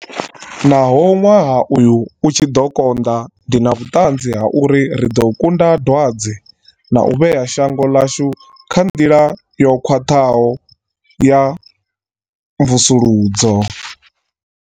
Naho ṅwaha uyu u tshi ḓo konḓa, ndi na vhuṱanzi ha uri ri ḓo kunda dwadze na u vhea shango ḽashu kha nḓila yo khwaṱhaho ya mvusuludzo.